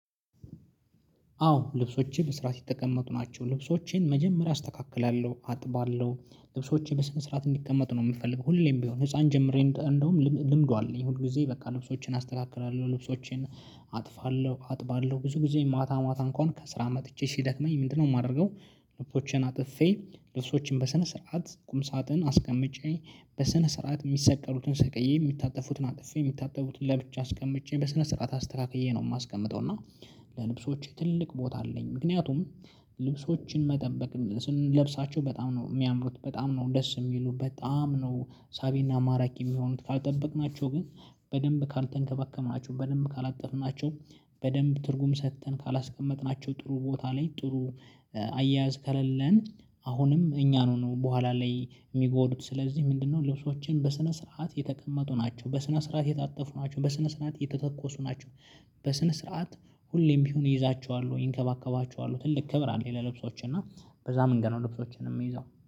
አዎ ልብሶችን በስርዓት የተቀመጡ ናቸው። ልብሶችን መጀመሪያ አስተካክላለሁ አጥባለሁ ልብሶችን በስነ ስርዓት እንዲቀመጡ ነው የምፈልገው። ሁሌም ቢሆን ህፃን ጀምሬ እንደውም ልምዱ አለኝ። ሁል ጊዜ በቃ ልብሶቼን አስተካክራለሁ ልብሶቼን አጥፋለሁ አጥባለሁ ብዙ ጊዜ ማታ ማታ እንኳን ከስራ መጥቼ ሲደክመኝ ምንድነው የማደርገው? ልብሶቼን አጥፌ ልብሶቼን በሰነ ስርዓት ቁም ሳጥን አስቀምጬ በሰነ ስርዓት የሚሰቀሩትን ሰቀዬ የሚታጠፉትን አጥፌ የሚታቡትን ለብቻ አስቀምጬ በስነ ስርዓት አስተካክዬ ነው የማስቀምጠው። እና ለልብሶቼ ትልቅ ቦታ አለኝ። ምክንያቱም ልብሶችን መጠበቅ ስንለብሳቸው በጣም ነው የሚያምሩት በጣም ነው ደስ የሚሉ በጣም ነው። ሳቤና ማራኪ የሚሆኑት ካልጠበቅናቸው ግን በደንብ ካልተንከባከብናቸው በደንብ ካላጠፍናቸው በደንብ ትርጉም ሰጥተን ካላስቀመጥናቸው ጥሩ ቦታ ላይ ጥሩ አያያዝ ካለልን። አሁንም እኛን ነው በኋላ ላይ የሚጎዱት። ስለዚህ ምንድነው? ልብሶችን በስነ ስርዓት የተቀመጡ ናቸው በስነ ስርዓት የታጠፉ ናቸው በስነ ስርዓት የተተኮሱ ናቸው። በስነ ስርዓት ሁሌም ቢሆን እይዛቸዋል እንከባከባቸዋለሁ ትልቅ ክብር አለ ይለ። ልብሶችን እና በዛ ምን ገና ልብሶችን የምይዘው